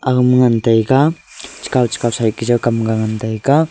agama ngan taiga chekaw-chekaw side ke jaw kamga ngan taiga.